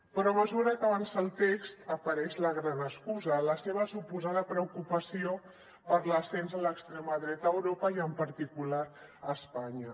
però a mesura que avança el text apareix la gran excusa la seva suposada preocupació per l’ascens de l’extrema dreta a europa i en particular a espanya